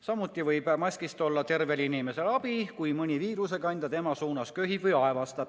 Samuti võib maskist olla abi tervel inimesel, kui mõni viirusekandja tema suunas köhib või aevastab.